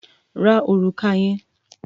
Ra òrùka yẹn!